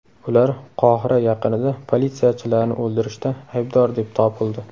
Ular Qohira yaqinida politsiyachilarni o‘ldirishda aybdor deb topildi.